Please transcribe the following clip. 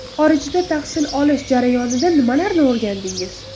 Xorijda tahsil olish jarayonida nimalarni o‘rgandingiz?